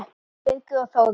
Jón Birgir og Þórunn.